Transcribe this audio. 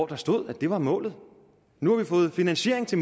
der stod at det var målet nu har vi fået finansiering til